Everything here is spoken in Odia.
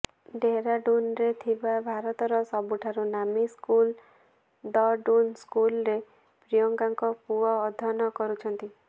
ଡେହରାଡୁନରେ ଥିବା ଭାରତର ସବୁଠୁ ନାମୀ ସ୍କୁଲ ଦ ଡୁନ୍ ସ୍କୁଲରେ ପ୍ରିୟଙ୍କାଙ୍କ ପୁଅ ଅଧ୍ୟୟନ କରୁଛନ୍ତି